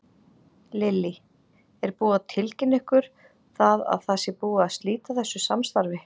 Lillý: Er búið að tilkynna ykkur það að það sé búið að slíta þessu samstarfi?